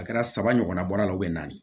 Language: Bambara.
A kɛra saba ɲɔgɔnna bɔra o naani